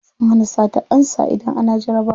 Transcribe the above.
Sun hana satar ansa idan ana jarabawa.